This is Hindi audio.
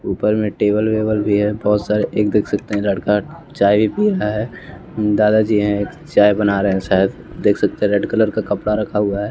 ऊपर में टेबल वेबल भी है बहुत सारे एक देख सकते हैं लड़का चाय भी पी रहा है दादा जी हैं चाय बना रहे हैं शायद देख सकते हैं रेड कलर का कपड़ा रखा हुआ है।